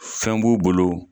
Fɛn b'u bolo